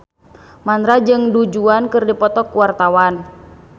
Mandra jeung Du Juan keur dipoto ku wartawan